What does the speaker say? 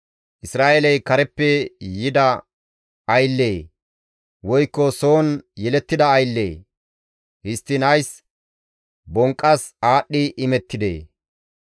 Isra7eeley kareppe yida ayllee? woykko soon yelettida ayllee? Histtiin ays bonqqas aadhdhi imettidee?